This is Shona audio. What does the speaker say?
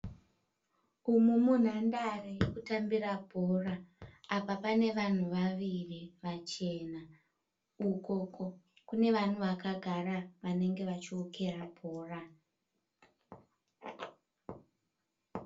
Umu munhandare yekutambira bhora. Apa pane vanhu vaviri vachena. Ukoko kune vanhu vakagara vanenge vachiwokera bhora.